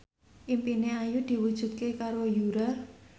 impine Ayu diwujudke karo Yura